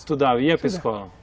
Estudava e ia para escola?